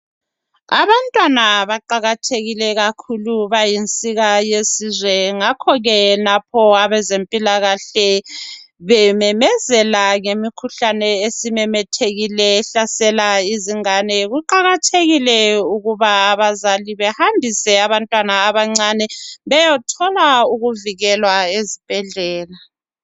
Abantwana baqakathekile kakhulu bayinsika yesizwe ngakho ke lapho abezempilakahle bememezela ngemikhuhlane esimemethekile ehlasela izingane. Kuqakathekile ukuba abazali behambise abantwana abancane beyothola ukuvikelwa ezibhedlela